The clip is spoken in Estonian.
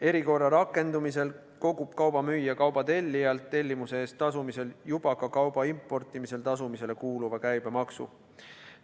Erikorra rakendumisel kogub kauba müüja kauba tellijalt tellimuse eest tasumisel juba ka kauba importimisel tasumisele kuuluva käibemaksu.